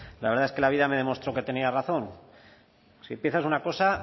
la verdad es que la vida me demostró que tenía razón si empiezas una cosa